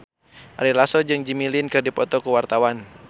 Ari Lasso jeung Jimmy Lin keur dipoto ku wartawan